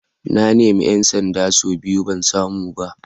Na nemi ‘yan sanda sau biyu ban samu ba.